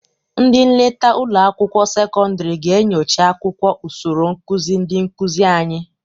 Ndị nleta ụlọ akwụkwọ sekọndịrị ga-enyocha akwụkwọ usoro nkụzị ndị nkụzị anyị.